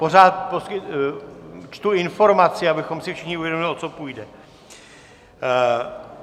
Pořád čtu informaci, abychom si všichni uvědomili, o co půjde.